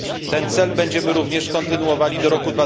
Ten cel będziemy również kontynuowali do roku